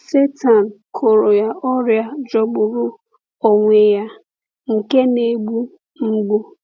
Sátán kụrọ ya ọrịa jọgburu onwe ya, nke na-egbu mgbu.